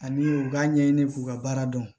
Ani u k'a ɲɛɲini k'u ka baara dɔn